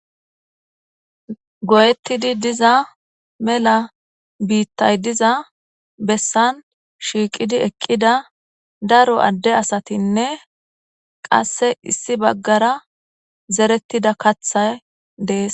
goyettidi diza mela biittay diza bessan shiiqidi eqqida daro adde asatinne qasse issi baggara zerettida katha dees